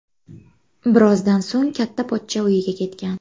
Birozdan so‘ng katta pochcha uyiga ketgan.